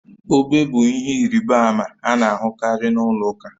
Obe bụ ihe ịrịba ama a na-ahụkarị na ụlọ ụka